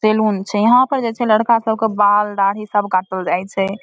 Salon छै यहाँ पर जे छै लड़का सब के बाल-दाढ़ी सब काटल जाइ छै।